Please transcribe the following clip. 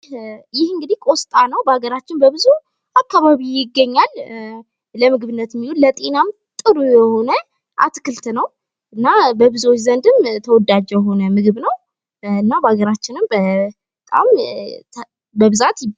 ይህ እንግዲህ ቆስጣ ነው። በሀገራችን በብዙ አካባቢ ይገኛል። ለምግብነት ለጤናም ጥሩ የሆነ አትክልት ነው። እና በብዙዎች ዘንድም ተወዳጅ የሆነ ምግብ ነው። እና በሀገራችንም በጣም በብዛት ይበላል።